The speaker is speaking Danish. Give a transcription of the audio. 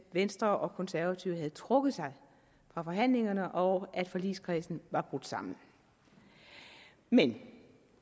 venstre og konservative havde trukket sig fra forhandlingerne og at forligskredsen var brudt sammen men